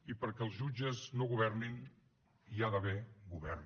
i perquè els jutges no governin hi ha d’haver govern